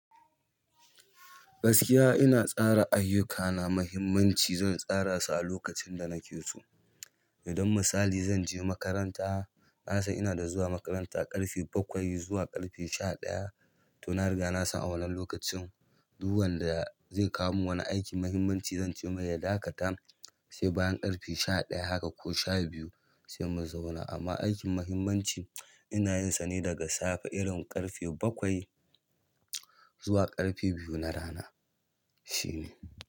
Gaskiya ina tsara ayyukana mahimmanci zan tsarasu a lokacin da nakeso, idan misali zanje makaranta, nasan inada zuwa makaranta daga ƙarfe bakwai zuwa ƙarfe sha ɗaya. To na riga na san a wannan lokacin duk wanda zai kawo mini wani aiki muhimmanci zan ce mai ya dakata sai bayan ƙarfe sha ɗaya haka ko sha biyu sai mu zauna. Amma aikin muhimmanci ina yin sa ne daga safe irin ƙarfe bakwai zuwa ƙarfe biyu na rana. Shine.